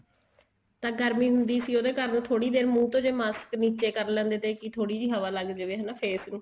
ਤਾਂ ਗਰਮੀ ਹੰਦੀ ਸੀ ਉਹਦੇ ਕਾਰਨ ਜੇ ਥੋੜੀ ਦੇਰ ਮੁੰਹ ਤੋਂ ਜੇ ਮਾਸਕ ਨੀਚੇ ਕਰ ਲੈਂਦੇ ਤੇ ਵੀ ਥੋੜੀ ਜੀ ਹਵਾ ਲੱਗ ਜੇ face ਨੂੰ